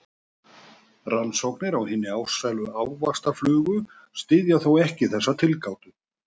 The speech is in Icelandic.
Rannsóknir á hinni ástsælu ávaxtaflugu styðja þó ekki þessa tilgátu.